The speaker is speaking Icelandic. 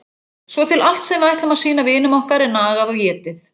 Svo til allt sem við ætlum að sýna vinum okkar er nagað og étið.